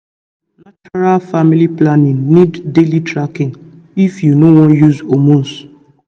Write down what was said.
true true natural family planning need daily tracking if you no wan use hormones